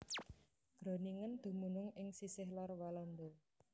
Groningen dumunung ing sisih lor Walanda